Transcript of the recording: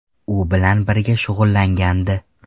U bilan birga shug‘ullangandi.